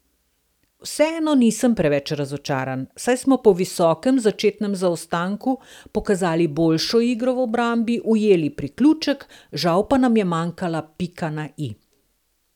Vseeno nisem preveč razočaran, saj smo po visokem začetnem zaostanku pokazali boljšo igro v obrambi, ujeli priključek, žal pa nam je manjkala pika na i.